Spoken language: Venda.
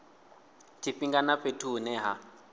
tshifhinga na fhethu hune ha